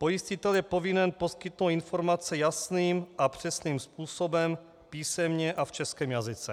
Pojistitel je povinen poskytnout informace jasným a přesným způsobem písemně a v českém jazyce.